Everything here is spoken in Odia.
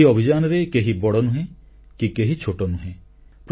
ଏହି ଅଭିଯାନରେ କେହି ବଡ଼ ନୁହେଁ କି କେହି ଛୋଟ ନୁହେଁ